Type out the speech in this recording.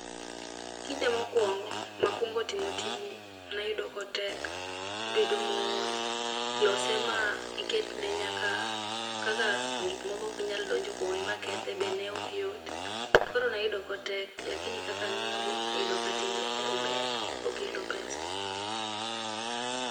Ekinde mokuongo makuongo timo tijni, ne ayudo ka otek. Ibedo mool kaka lose miketne nyaka kaka gik moko ok nyal donjo kuome makethe be ne ok yot. Koro ne ayudo ka otek to lakini kaka ang'iyogo, ayudo ka ober okelo pesa.